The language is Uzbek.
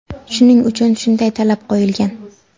Shuning uchun shunday talab qo‘yilgan.